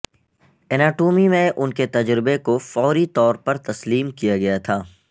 anatomy میں ان کے تجربے کو فوری طور پر تسلیم کیا گیا تھا